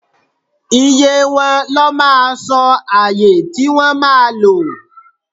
iye wọn, lọ mà sọ ayè ti wọn ma lò